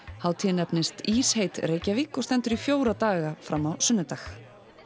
hátíðin nefnist Reykjavík og stendur í fjóra daga fram á sunnudag